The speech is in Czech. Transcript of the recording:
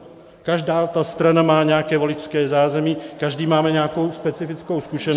Každá ta strana má nějaké voličské zázemí, každý máme nějakou specifickou zkušenost -